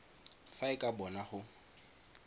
fa e ka bona go